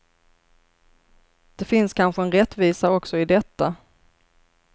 Det finns kanske en rättvisa också i detta.